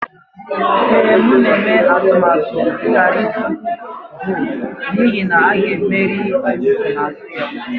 Ee, m na-eme atụmatụ ịghara ịtụ vootu n'ihi na a ga-emeri nsonaazụ ya